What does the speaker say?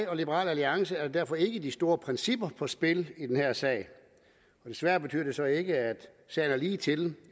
og liberal alliance er der derfor ikke de store principper på spil i den her sag men desværre betyder det så ikke at sagen er ligetil